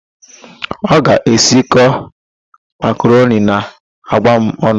Ọ ga-esikọ makaroni na àgwà ọnụ.